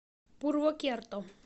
пурвокерто